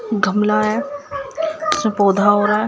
गमला है उसमें पौधा हो रहा है।